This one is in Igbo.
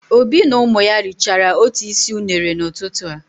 Obi na ụmụ ya richara otu isi unere n'ụtụtụ a.